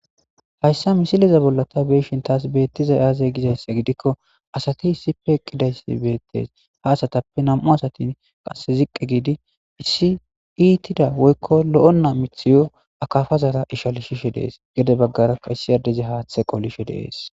Haysa misileza bolla ta beyoshin tas betizay aaze gizaysa gidiko asati issippe eqidaysi beetes ha asatappe qase nam'u asati ziqi giidi issi iitida woyko lo'ena mithiyo akapara ishalisishe de'ees. Gede bagaraka issi addezi haathe qolishe de'ees.